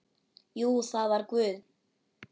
Jú, það var Guð.